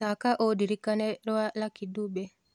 thaka undĩrĩkane rwa lucky dube